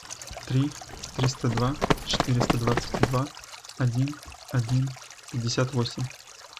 три триста два четыреста двадцать два один один пятьдесят восемь